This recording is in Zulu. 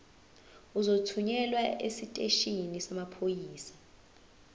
uzothunyelwa esiteshini samaphoyisa